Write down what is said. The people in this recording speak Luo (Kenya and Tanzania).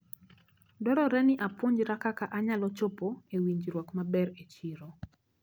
Dwarore ni apuonjra kaka anyalo chopo e winjruok maber e chiro.